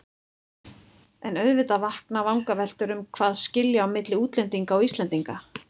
En auðvitað vakna vangaveltur um hvað skilji á milli útlendinga og Íslendinga.